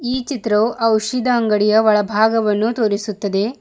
ಈ ಚಿತ್ರವು ಔಷದ ಅಂಗಡಿಯ ಒಳಭಾಗವನ್ನು ತೋರಿಸುತ್ತದೆ.